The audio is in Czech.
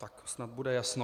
Tak snad bude jasno.